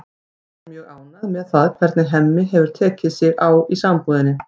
Edda er mjög ánægð með það hvernig Hemmi hefur tekið sig á í sambúðinni.